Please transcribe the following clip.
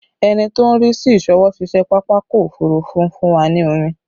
Ẹni tó ń rí sí ìsọwọ́-ṣiṣẹ́ pápákọ̀ òfurufú fún wa ní omi